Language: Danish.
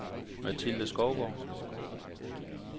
Mathilde Skovgaard